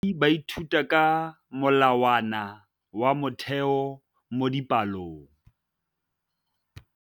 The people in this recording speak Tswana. Baithuti ba ithuta ka molawana wa motheo mo dipalong.